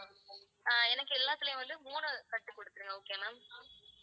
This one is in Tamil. எனக்கு எல்லாத்துலயும் வந்து மூணு கட்டு குடுத்துருங்க okay யா ma'am